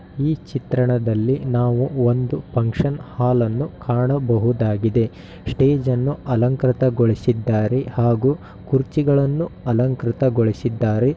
ಈ ಚಿತ್ರಣದಲ್ಲಿ ನಾವು ಒಂದು ಪಂಕ್ಷನ್‌ ಹಾಲ್ ನ್ನುಕಾಣಬಹುದಾಗಿದೆ. ಸ್ಟೇಜನ್ನು ಅಲಂಕೃತಗೊಳಿಸಿದ್ದಾರೆ ಹಾಗೂ ಕುರ್ಚಿಗಳನ್ನು ಅಲಂಕೃತಗೊಳಿಸಿದ್ದಾರೆ.